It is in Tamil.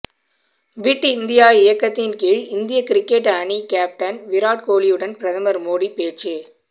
பிட் இந்தியா இயக்கத்தின் கீழ் இந்திய கிரிக்கெட் அணி கேப்டன் விராட் கோலியுடன் பிரதமர் மோடி பேச்சு